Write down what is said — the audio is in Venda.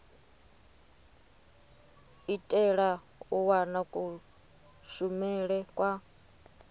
itela u wana kushumele kwa